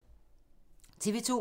TV 2